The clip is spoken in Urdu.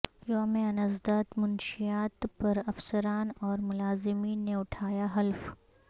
یوم انسداد منشیات پرافسران اور ملازمین نے اٹھایا حلف